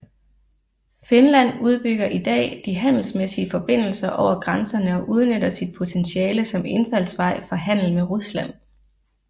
Finland udbygger i dag de handelsmæssige forbindelser over grænserne og udnytter sit potentiale som indfaldsvej for handel med Rusland